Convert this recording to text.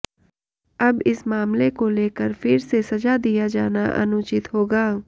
अब इस मामले को लेकर फिर से सजा दिया जाना अनुचित होगा